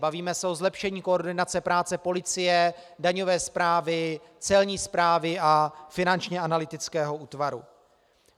Bavíme se o zlepšení koordinace práce policie, daňové správy, celní správy a Finančního analytického útvaru.